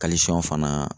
fana